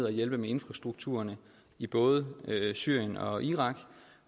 at hjælpe med infrastrukturen i både syrien og irak